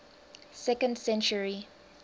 second century